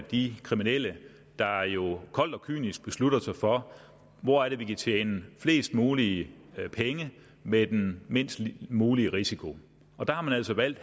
de kriminelle der jo koldt og kynisk beslutter sig for hvor de kan tjene flest mulige penge med den mindst mulige risiko der har man altså valgt